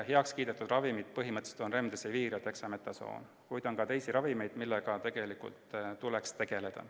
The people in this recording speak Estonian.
Heakskiidetud ravimid on põhimõtteliselt Remdesivir ja Dexamethasone, kuid on ka teisi ravimeid, millega tegelikult tuleks tegeleda.